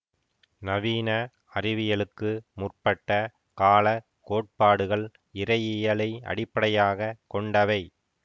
நவீன அறிவியலுக்கு முற்பட்ட கால கோட்பாடுகள் இறையியலை அடிப்படையாக கொண்டவை